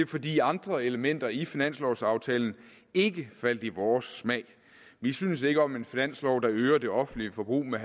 fordi andre elementer i finanslovsaftalen ikke faldt i vores smag vi synes ikke om en finanslov der øger det offentlige forbrug med